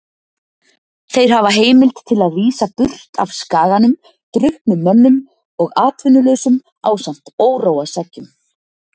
Þeir hafa heimild til að vísa burt af skaganum drukknum mönnum og atvinnulausum ásamt óróaseggjum.